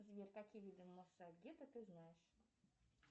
сбер какие виды ты знаешь